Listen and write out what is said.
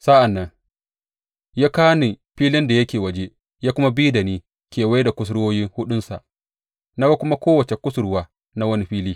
Sa’an nan ya kawo ni filin da yake waje ya kuma bi da ni kewaye da kusurwoyi huɗunsa, na kuma ga kowace kusurwa na wani fili.